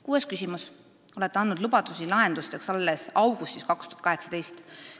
Kuues küsimus: "Olete andnud lubadusi lahendusteks alles augustisse 2018.